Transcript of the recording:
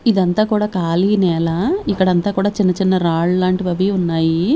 ఇదంతా కూడా ఖాళీ నేల ఇక్కడంతా కూడా చిన్న చిన్న రాళ్ళ లాంటివి అవి ఉన్నాయి.